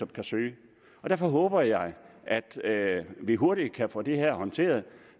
kan søge og derfor håber jeg at vi hurtigt kan få det her håndteret